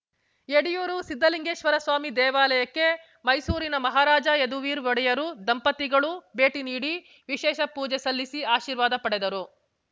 ಎಡೆಯೂರು ಸಿದ್ದಲಿಂಗೇಶ್ವರ ಸ್ವಾಮಿ ದೇವಾಲಯಕ್ಕೆ ಮೈಸೂರಿನ ಮಹಾರಾಜ ಯದುವೀರ್ ಒಡೆಯರ್ ದಂಪತಿಗಳು ಭೇಟಿ ನೀಡಿ ವಿಶೇಷ ಪೂಜೆ ಸಲ್ಲಿಸಿ ಆಶೀರ್ವಾದ ಪಡೆದರು